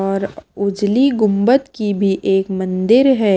और उजली गुंबद की भी एक मंदिर है।